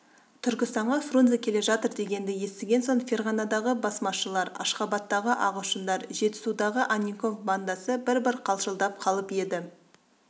түркістанға фрунзе келе жатыр дегенді естіген соң ферғанадағы басмашылар ашғабадтағы ағылшындар жетісудағы анненков бандасы бір-бір қалшылдап қалып еді